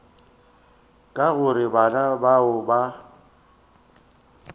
ka gore bana bao ba